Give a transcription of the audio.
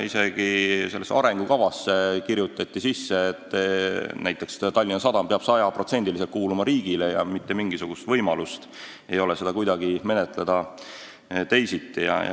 Isegi sellesse arengukavasse kirjutati, et näiteks Tallinna Sadam peab 100%-liselt kuuluma riigile ega ole mitte mingisugust võimalust seda kuidagi teisiti menetleda.